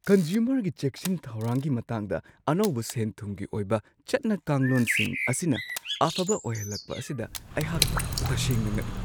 ꯀꯟꯖꯨꯃꯔꯒꯤ ꯆꯦꯛꯁꯤꯟ ꯊꯧꯔꯥꯡꯒꯤ ꯃꯇꯥꯡꯗ ꯑꯅꯧꯕ ꯁꯦꯟ-ꯊꯨꯝꯒꯤ ꯑꯣꯏꯕ ꯆꯠꯅ-ꯀꯥꯡꯂꯣꯟꯁꯤꯡ ꯑꯁꯤꯅ ꯑꯐꯕ ꯑꯣꯏꯍꯜꯂꯛꯄ ꯑꯁꯤꯗ ꯑꯩꯍꯥꯛ ꯇꯁꯦꯡꯅ ꯉꯛꯏ ꯫